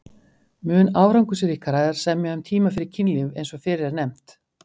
Mun árangursríkara er að semja um tíma fyrir kynlíf eins og fyrr er nefnt.